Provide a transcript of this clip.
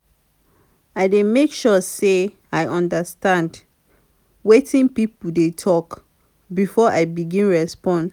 i dey make sure sey i understand wetin pipo dey tok before i begin respond.